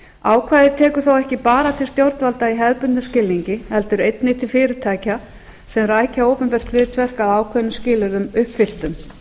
ákvæðið tekur þó ekki bara til stjórnvalda í hefðbundnum skilningi heldur einnig til fyrirtækja sem rækja opinbert hlutverk að ákveðnum skilyrðum uppfylltum